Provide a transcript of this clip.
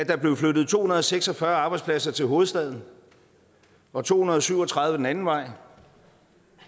der blev flyttet to hundrede og seks og fyrre arbejdspladser til hovedstaden og to hundrede og syv og tredive den anden vej